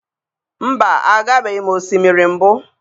Mba, agabeghị m osimiri mbụ.